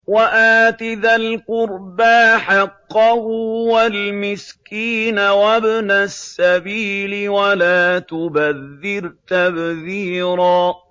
وَآتِ ذَا الْقُرْبَىٰ حَقَّهُ وَالْمِسْكِينَ وَابْنَ السَّبِيلِ وَلَا تُبَذِّرْ تَبْذِيرًا